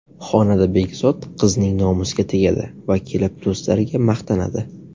Xonada Begzod qizning nomusiga tegadi va kelib do‘stlariga maqtanadi.